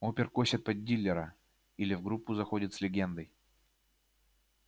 опер косит под дилера или в группу заходит с легендой